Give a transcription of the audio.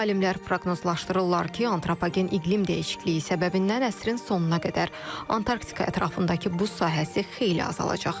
Alimlər proqnozlaşdırırlar ki, antropogen iqlim dəyişikliyi səbəbindən əsrin sonuna qədər Antarktika ətrafındakı buz sahəsi xeyli azalacaq.